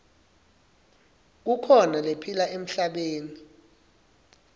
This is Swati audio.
kukhona lephila emhlabeni